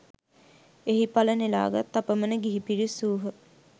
එහි ඵල නෙළා ගත් අපමණ ගිහි පිරිස් වූහ